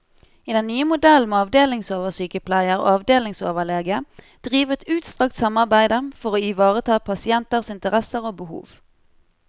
I den nye modellen må avdelingsoversykepleier og avdelingsoverlege drive et utstrakt samarbeide for å ivareta pasienters interesser og behov.